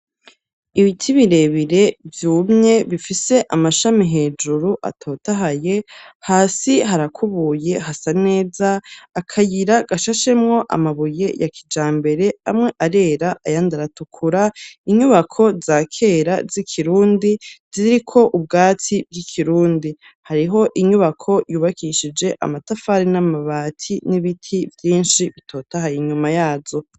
Ibiti birebire, vyumye, bifise amashami hejuru atotahaye, hasi harakubuye, hasa neza, akayira gashashemwo amabuye ya kijambere, amwe arera ayandi aratukura; inyubako za kera, z'ikirundi ziriko ubwatsi bw'ikirundi; hariho inyubako yubakishije amatafari n'amabati, n'ibiti vyinshi bitotahaye inyuma yazo.